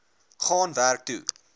gaan werk toe